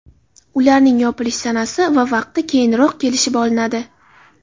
Ularning yopilish sanasi va vaqti keyinroq kelishib olinadi.